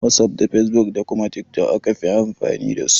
Wasuf da fesbuk da kuma tiktok aka fi amfani dasu.